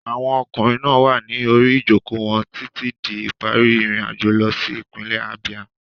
Àwọn ọkùnrin náà wà ní orí ìjókòó wọn títí di ìparí ìrìnàjò lọ sí ìpínlẹ̀ Abia.